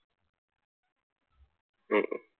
ഹും